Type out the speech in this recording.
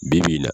Bi bi in na